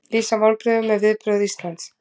Lýsa vonbrigðum með viðbrögð Íslands